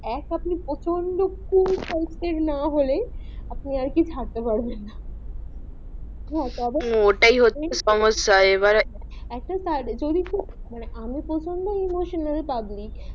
এক আপনি প্রচন্ড না হলে আপনি আর কে থাকতে পারবেন না হা তারপর ওটাই হচ্ছে সম্যসা এবারে আমি প্রচন্ড iemonasnal পাবলিক